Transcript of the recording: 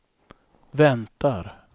väntar